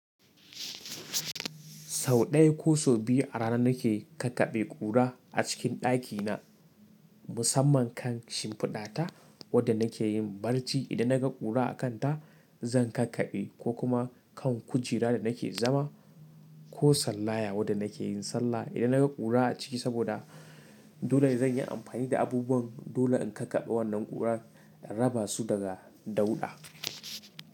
Sau ɗaya ko sau biyu a rana nake kakkaɓe ƙura a cikin ɗakina, musamman kan shimfiɗata wadda nake yin barci idan naga ƙura a kanta zan kakkaɓe ko kuma kan kujera da nake zama ko sallaya wadda nake yin sallah idan naga ƙura a ciki saboda dole zan yi amfani da abubuwan dole in kakkaɓe wannan ƙuran in raba su daga dauɗa.